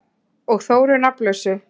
Og Þóru nafnlausu.